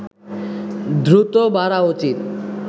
দ্রুত বাড়া উচিত